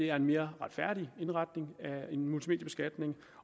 er en mere retfærdig indretning af en multimediebeskatning